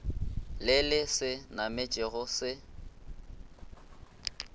le le se nametšego se